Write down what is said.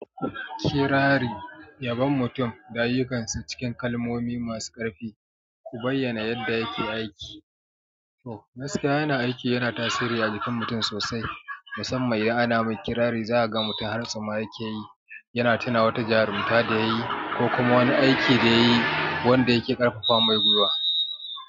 Kirari, yabon mutum da ayyukansu cikin kalmomi masu ƙarfi, ku bayyana yadda yake aiki. Oh, gaskiya yana aiki yana tasiri a jikin mutum sosai, musamman idan ana mai kirari. Zaka ga mutum hartsu ma yake yi, yana tuna wata jarumta da yayi ko kuma wani aiki da yayi wanda yake ƙarfafa mai gwiwa.